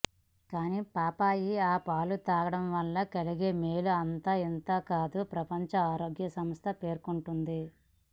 కానీ పాపాయి ఆ పాలు తాగడం వల్ల కలిగే మేలు అంతాఇంతా కాదని ప్రపంచ ఆరోగ్యసంస్థ పేర్కొంటోంది